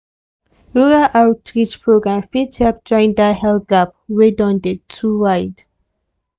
rural outreach program fit help join that health gap wey don dey too wide.